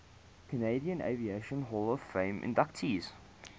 canadian aviation hall of fame inductees